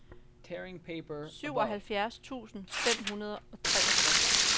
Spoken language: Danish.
syvoghalvfjerds tusind fem hundrede og treogtres